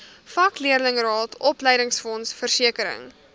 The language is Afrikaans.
vakleerlingraad opleidingsfonds versekering